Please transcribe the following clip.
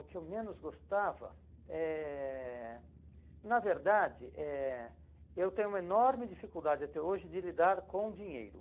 O que eu menos gostava eh, na verdade eh, eu tenho uma enorme dificuldade até hoje de lidar com dinheiro.